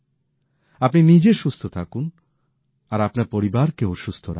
আপনি নিজে সুস্থ থাকুন আর আপনার পরিবারকেও সুস্থ রাখুন